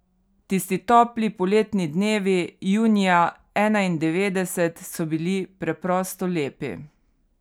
Tisti topli poletni dnevi junija enaindevetdeset so bili preprosto lepi.